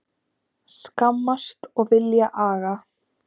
Skammast og vilja aga